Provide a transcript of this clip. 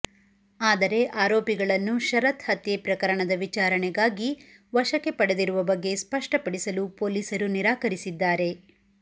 ಆದರೆ ಆರೋಪಿಗಳನ್ನು ಶರತ್ ಹತ್ಯೆ ಪ್ರಕರಣದ ವಿಚಾರಣೆಗಾಗಿ ವಶಕ್ಕೆ ಪಡೆದಿರುವ ಬಗ್ಗೆ ಸ್ಪಷ್ಟಪಡಿಸಲು ಪೊಲೀಸರು ನಿರಾಕರಿಸಿದ್ದಾರೆ